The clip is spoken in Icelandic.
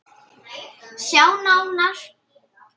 Sjá nánar